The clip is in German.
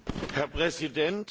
Herr Präsident!